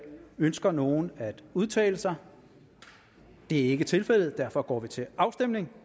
ønsker nogen at udtale sig det er ikke tilfældet derfor går vi til afstemning